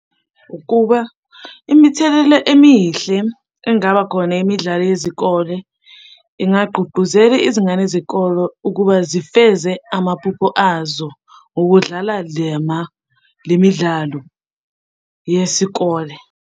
Ukuba imithelela emihle engaba khona imidlalo yezikole, ingagqugquzela izingane zikolo ukuba zifeze amaphupho azo ngokudlala le midlalo yesikole.